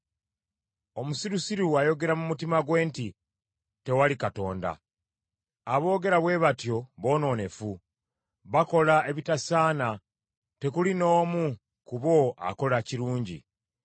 Omusirusiru ayogera mu mutima gwe nti, “Tewali Katonda.” Aboogera bwe batyo boonoonefu, bakola ebitasaana tekuli n’omu ku bo akola kirungi.